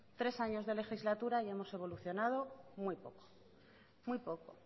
tres años de legislatura y hemos evolucionado muy poco muy poco